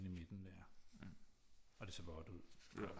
Inde i midten der og det ser vådt ud